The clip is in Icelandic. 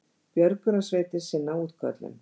Björgunarsveitir sinna útköllum